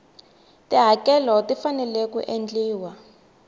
tihakelo ti fanele ku endliwa